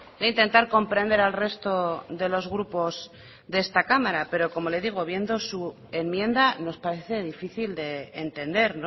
de intentar comprender al resto de los grupos de esta cámara pero como le digo viendo su enmienda nos parece difícil de entender